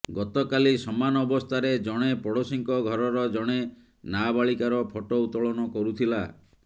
ଗତକାଲି ସମାନ ଅବସ୍ଥାରେ ଜଣେ ପଡୋଶୀଙ୍କ ଘରର ଜଣେ ନାବାଳିକାର ଫଟୋ ଉତ୍ତୋଳନ କରୁଥିଲା